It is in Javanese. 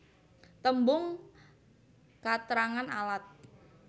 Tembung katrangan alat